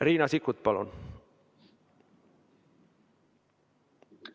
Riina Sikkut, palun!